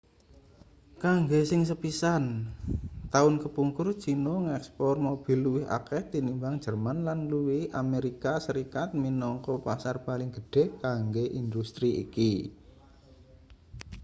kanggo sing sepisan taun kepungkur china ngekspor mobil luwih akeh tinimbang jerman lan ngluwihi amerika serikat minangka pasar paling gedhe kanggo industri iki